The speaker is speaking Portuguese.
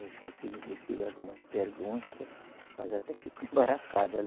Eu já fiz lhe fiz algumas perguntas, mas até fico embaraçado.